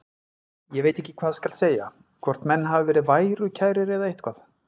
Ég veit ekki hvað skal segja, hvort menn hafi verið værukærir eða eitthvað.